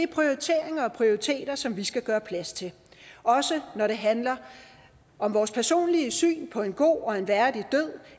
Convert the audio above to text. prioriteringer og prioriteter som vi skal gøre plads til også når det handler om vores personlige syn på en god og værdig død